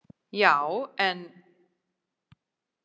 Já, en